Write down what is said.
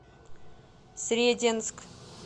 сретенск